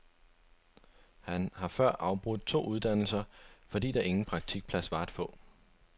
Han har før afbrudt to uddannelser, fordi der ingen praktikplads var at få.